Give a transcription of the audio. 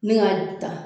Ne k'a ju ta